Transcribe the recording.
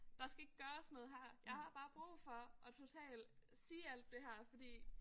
Der skal ikke gøres noget her jeg har bare brug for at totalt sige alt det her fordi